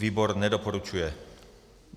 Výbor nedoporučuje.